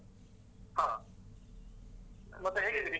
ಹ. ಮತ್ತೆ ಹೇಗಿದ್ದೀರಿ?